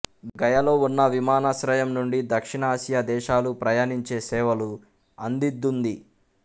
గయలో ఉన్న విమానాశ్రయం నుండి దక్షిణాసియా దేశాలు ప్రయాణించే సేవలు అందిద్తుంది